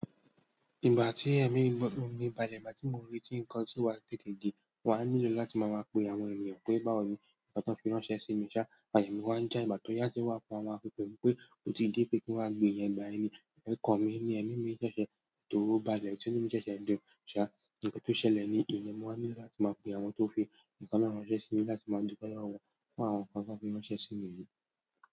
Ìgbà tí èmi ń gbọ́ ọ̀ní, balẹ̀ má tí mo rí ti ń kán sí wa gẹ́gẹ́ gẹ́gẹ́. Wàá nílò láti máa mọ àpe àwọn ènìyàn pé bá mi, àtún fẹ́ ránṣẹ́ sí mi. Ṣa, àyamí wàá ń já ìgbà tó yá tó wà fún àwọn akọkọ pé kò tí ì dé pé kí n wá gbé yẹn gba ẹ̀mí. Ẹ̀kọ́ mi ni ẹ́mí mi ṣẹ̀ṣẹ̀ tó balẹ̀, tí inú mi ṣẹ̀ṣẹ̀ ń dùn. Ṣa, nǹkan tó ṣẹlẹ̀ ni ìyẹn, mo wá nílò láti máa pè àwọn tó fẹ́ ń kàná ránṣẹ́ sí mi láti máa dupe lowo wọn fún àwọn kan tí wọ́n fi ránṣẹ́ sí mi ni.